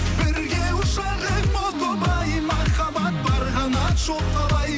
бірге ұшар ем о тоба ай махаббат бар қанат жоқ қалай